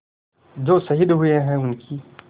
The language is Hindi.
जो शहीद हुए हैं उनकी